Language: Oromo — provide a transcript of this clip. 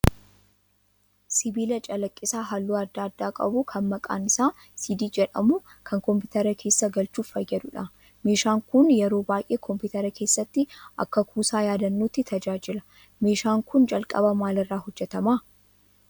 Sibiila callaqisaa halluu adda addaa qabu kan maqaan isaa 'CD' jedhamu kan kompiteera keessa galchuuf fayyaduudha. meeshaan kun yeroo baay'ee kompiteera keessatti akka kuusaa yaadannooti tajaajila. Meeshaan kun jalqaba maal irraa hojjetamaa?